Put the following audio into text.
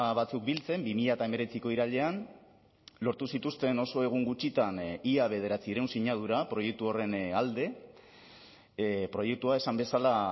batzuk biltzen bi mila hemeretziko irailean lortu zituzten oso egun gutxitan ia bederatziehun sinadura proiektu horren alde proiektua esan bezala